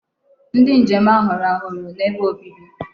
Ndi njem ahu rahuru n'ebe obibi